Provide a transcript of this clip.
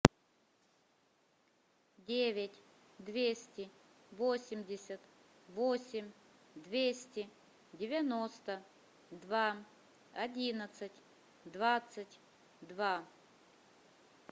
девять двести восемьдесят восемь двести девяносто два одиннадцать двадцать два